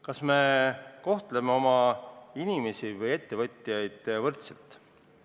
Kas me kohtleme oma inimesi või ettevõtjaid võrdselt?